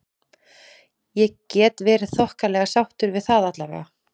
Ég get verið þokkalega sáttur við það allavega.